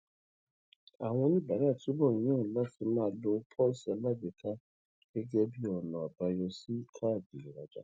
àwọn oníbàárà túbò ń yàn láti máa lo póòsì alágbèéká gégé bí ònà àbáyọ sí káàdì ìrajà